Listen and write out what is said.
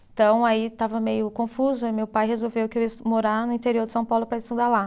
Então aí estava meio confuso aí meu pai resolveu que eu ia estu, morar no interior de São Paulo para estudar lá.